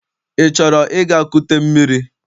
Ị chọrọ ịga kute mmiri?